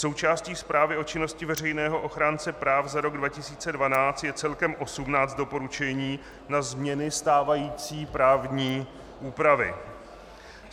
Součástí zprávy o činnosti veřejného ochránce práv za rok 2012 je celkem 18 doporučení na změny stávající právní úpravy.